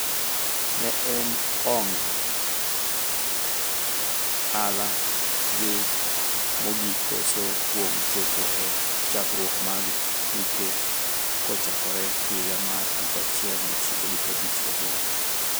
Ne en ong[ala gi mogik koso kuom chopo e chakruok mag tuke kochakore higa mar 1958.